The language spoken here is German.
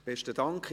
Besten Dank.